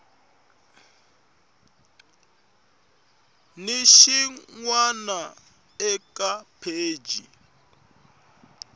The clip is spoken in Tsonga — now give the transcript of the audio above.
ni xin wana eka pheji